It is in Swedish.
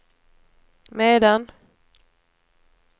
medan